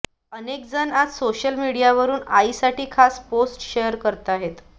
अनेकजण आज सोशल मीडियावरून आईसाठी खास पोस्ट शेअर करताहेत